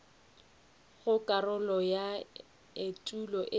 go karolo ya etulo e